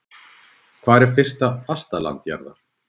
Hvar er nyrsta fastaland jarðar?